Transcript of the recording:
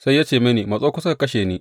Sai ya ce mini, Matso kusa ka kashe ni!